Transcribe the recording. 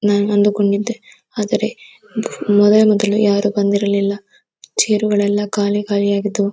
ನಾನು ಅಂದು ಕೊಂಡಿದ್ದೆ ಆದರೆ ಮೊದಲು ಮೊದಲು ಯಾರು ಬಂದಿರ್ಲಿಲ್ಲ ಚೇರು ಗಳು ಎಲ್ಲ ಖಾಲಿ ಖಾಲಿಗಳು ಆಗಿದ್ದವು.